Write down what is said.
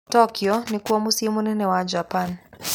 Tokyo nĩkuo mũciĩ mũnene wa Japan.